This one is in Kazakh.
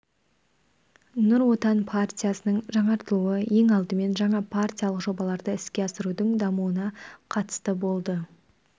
нұр отан партиясының жаңартылуы ең алдымен жаңа партиялық жобаларды іске асырудың дамуына қатысты болды